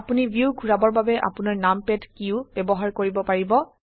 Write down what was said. আপোনি ভিউ ঘোৰাবৰ বাবে আপোনাৰ নামপাদ কী ও ব্যবহাৰ কৰিব পাৰিব